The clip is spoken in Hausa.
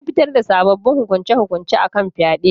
An fitar da sabbabin hukunce-hukunce akan fyade